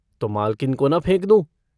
तो मालकिन को न फेंक दूँ।